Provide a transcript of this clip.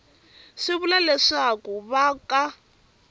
swi vula leswaku va ka